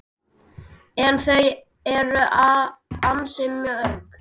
En þau eru ansi mörg